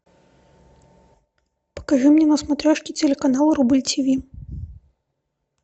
покажи мне на смотрешке телеканал рубль тиви